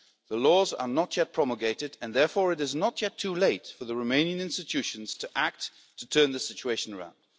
The laws are not yet promulgated, and therefore it is not yet too late for the Romanian institutions to act to turn the situation around.